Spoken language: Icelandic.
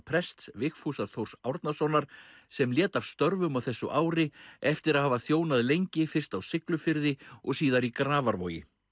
prests Vigfúsar Þórs Árnasonar sem lét af störfum á þessu ári eftir að hafa þjónað lengi fyrst á Siglufirði og síðar í Grafarvogi